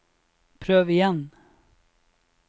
prøv igjen